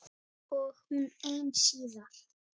Og hún ein síðar.